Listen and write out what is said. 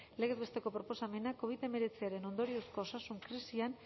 legez besteko proposamena covid hemeretziaren ondoriozko osasun krisian